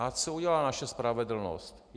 A co udělala naše spravedlnost?